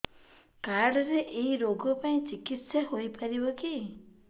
card ରେ ଏଇ ରୋଗ ପାଇଁ ଚିକିତ୍ସା ହେଇପାରିବ କି